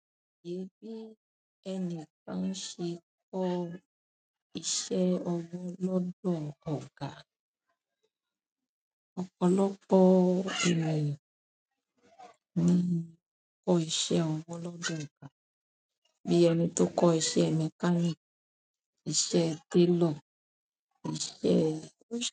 Gẹ́gẹ́ ẹni kan ṣe kọ́ iṣẹ́ ọwọ́ lọ́dọ̀ ọ̀gá. Ọ̀pọ̀lọpọ̀ ènìyàn ní kọ́ iṣẹ́ ọwọ́ lọ́dọ̀ ọ̀gá, bí ẹni tó ń kọ́ iṣẹ́ mẹkáníìkì, iṣẹ́ télò, iṣẹ́